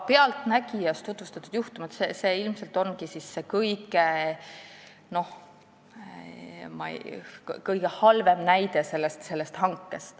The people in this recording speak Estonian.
"Pealtnägijas" tutvustatud juhtum on ilmselt selle hanke kõige halvem näide.